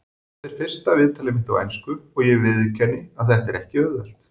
Þetta er fyrsta viðtalið mitt á ensku og ég viðurkenni að þetta er ekki auðvelt.